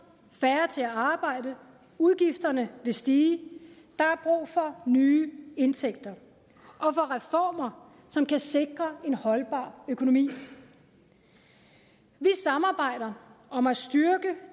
og færre til at arbejde og udgifterne vil stige der er brug for nye indtægter og for reformer som kan sikre en holdbar økonomi vi samarbejder om at styrke